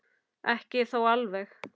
Ekki þó alveg.